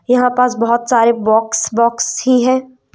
यह पास बहोत सारे बॉक्स बॉक्स ही है।